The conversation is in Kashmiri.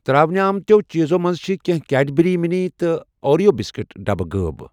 ترٛاونہٕ آمتٮ۪و چیٖزو منٛزٕ چھِ کٮ۪نٛہہ کیڑبرٛی مِنی اوریو بِسکوٗٹ ڈبہٕ غٲب